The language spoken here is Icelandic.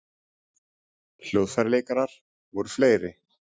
Hljóðfæraleikarar voru fleiri